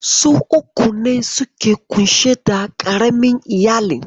Su uku ne suka ke ƙunshe da ƙaramin iyalin.